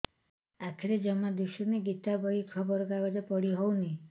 ଆଖିରେ ଜମା ଦୁଶୁନି ଗୀତା ବହି ଖବର କାଗଜ ପଢି ହଉନି